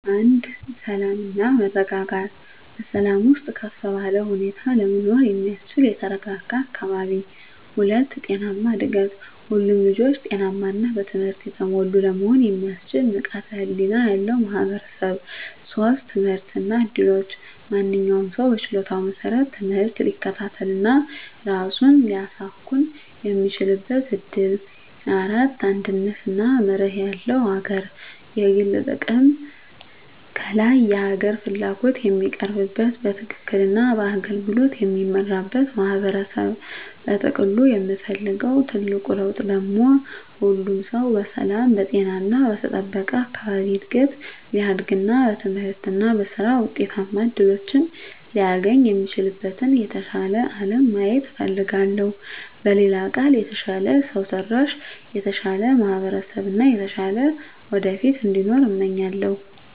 1. ሰላም እና መረጋጋት በሰላም ውስጥ ከፍ ባለ ሁኔታ ለመኖር የሚያስችል የተረጋጋ አካባቢ። 2. ጤናማ እድገት ሁሉም ልጆች ጤናማ እና በትምህርት የተሞሉ ለመሆን የሚያስችል ንቃተ ህሊና ያለው ማህበረሰብ። 3. ትምህርት እና እድሎች ማንኛውም ሰው በችሎታው መሰረት ትምህርት ሊከታተል እና ራሱን ሊያሳኵን የሚችልበት እድል። 4. አንድነት እና መርህ ያለው አገር የግል ጥቅም ከላይ የሀገር ፍላጎት የሚቀርብበት፣ በትክክል እና በአገልግሎት የሚመራበት ማህበረሰብ። በጥቅሉ የምፈልገው ትልቁ ለውጥ ደግሞ ሁሉም ሰው በሰላም፣ በጤና እና በተጠበቀ አካባቢ እድገት ሊያድግ እና በትምህርት እና በሥራ ውጤታማ እድሎችን ሊያገኝ የሚችልበትን የተሻለ አለም ማየት እፈልጋለሁ። በሌላ ቃል፣ የተሻለ ሰው ሰራሽ፣ የተሻለ ማህበረሰብ እና የተሻለ ወደፊት እንዲኖር እመኛለሁ።